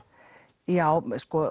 já